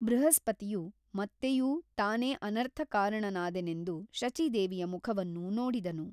ಬೃಹಸ್ಪತಿಯು ಮತ್ತೆಯೂ ತಾನೇ ಅನರ್ಥಕಾರಣನಾದೆನೆಂದು ಶಚೀದೇವಿಯ ಮುಖವನ್ನು ನೋಡಿದನು.